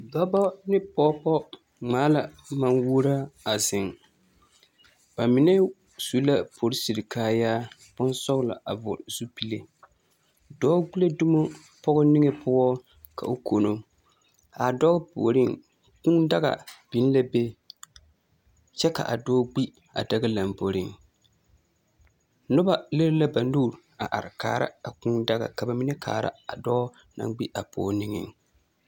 Dɔbɔ ne pɔgebɔ ŋmaa la maŋ-wuoraa a zeŋ. Ba mine su la porisiri kaayaa bonsɔglɔ a vɔgle zupile. Dɔɔ gbi la dumo pɔge niŋe poɔ ka o kono. A dɔɔ puoriŋ, kũũ daga biŋ la be kyɛ ka a dɔɔ gbi a daga lamboriŋ. Noba lere la ba nuuri a are kaara a kũũ daga ka ba mine kaara a dɔɔ naŋ gbi a pɔge niŋeŋ.